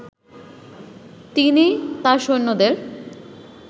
তিনি তার সৈন্যদের